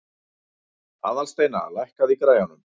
Aðalsteina, lækkaðu í græjunum.